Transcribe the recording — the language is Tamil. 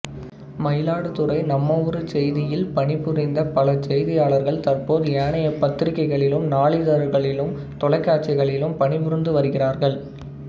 மயிலாடுதுறை நம்மஊருசெய்தியில் பணி புரிந்த பல செய்தியாளர்கள் தற்போது ஏனைய பத்திரிகைகளிலும் நாளிதழ்களிலும் தொலைக்காட்சிகளிலும் பணி புரிந்து வருகிறார்கள்